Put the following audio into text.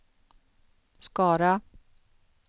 Skara